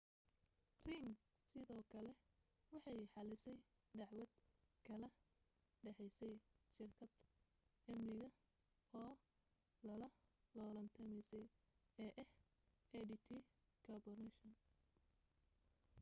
ring sidoo kale waxay xallisay dacwad kala dhexaysay shirkad amni oo la loolantamaysay ee ah adt corporation